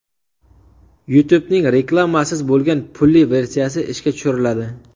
YouTube’ning reklamasiz bo‘lgan pulli versiyasi ishga tushiriladi.